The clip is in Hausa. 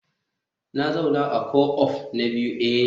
Na zauna a co-op na biyu eh